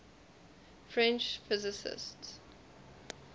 french physicists